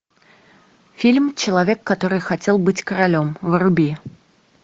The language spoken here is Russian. фильм человек который хотел быть королем вруби